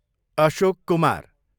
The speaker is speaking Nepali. अशोक कुमार